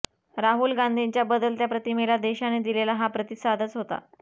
राहुल गांधींच्या बदलत्या प्रतिमेला देशाने दिलेला हा प्रतिसादच होता